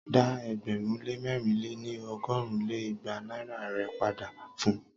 Dá ẹgbẹ̀rún lé mẹ̀rin lé ní- ọgọ́rùn lé igba naira rè padà fun!